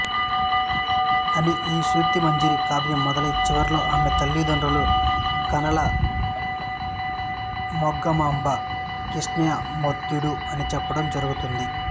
అని ఈ స్తుతిమంజరి కావ్యం మొదలై చివరలో ఈమె తల్లిదండ్రులు కానాల మంగమాంబ కృష్ణయామాత్యుడు అని చెప్పడం జరుగుతుంది